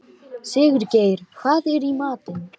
Sigurgeir, hvað er í matinn?